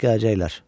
Saat gələcəklər.